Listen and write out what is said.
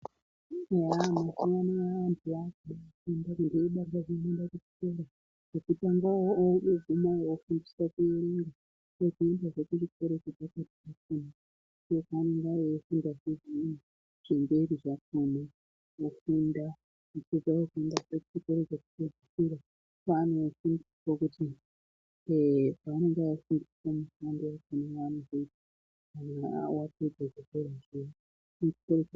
Eya mazuvano antu aakude kufunda odakarire kuende chikoro chekutangayo ooguma ofundiswa kuerenga. Ozoendazve kuchikoro chepakati ofunda, ofundazve zvimweni zvemberi zvakona ofunda opedza ofundzazve chikoro chekupedzisira paanonofundiswa kuti eh paanenge eifundiswa mishando yaanozoita kana vapedze zvikorozvo...